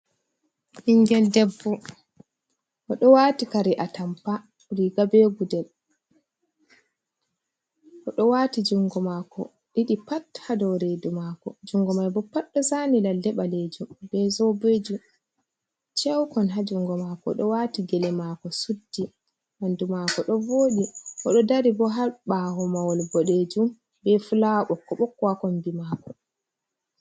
Ɓingel debbo oɗo wati kare atampa riga be gudel oɗo wati jungo mako ɗiɗi pat ha dou redu mako, jungo mai bo pat ɗo zani lale ɓalejum be zobeji ceukon ha jungo mako oɗo wati gele mako suddi ɓandu mako ɗo vodi oɗo dari bo ha ɓawo mahol boɗejum be fulawa ɓokko ɓokko wa ha kombi mako.